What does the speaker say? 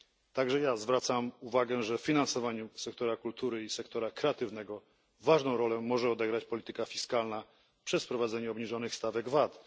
Także i ja zwracam uwagę, że w finansowaniu sektora kultury i sektora kreatywnego ważną rolę może odegrać polityka fiskalna poprzez wprowadzenie obniżonych stawek VAT.